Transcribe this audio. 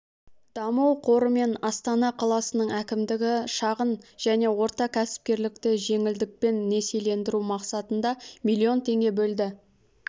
даму қоры мен астана қаласының әкімдігі шағын және орта кәсіпкерлікті жеңілдікпен несиелендіру мақсатында млн теңге бөлді